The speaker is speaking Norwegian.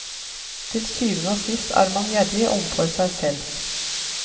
Til syvende og sist er man gjerrig overfor seg selv.